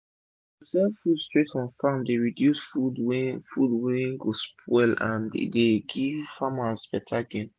to sell food straight from farm dey reduce food wey food wey go spoil and e dey give farmers beta gain